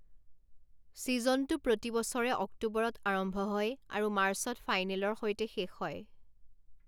ছিজনটো প্ৰতি বছৰে অক্টোবৰত আৰম্ভ হয় আৰু মাৰ্চত ফাইনেলৰ সৈতে শেষ হয়।